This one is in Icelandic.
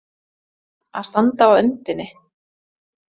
Að standa á öndinni